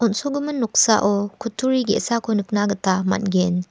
on·sogimin noksao kuturi ge·sako nikna gita man·gen.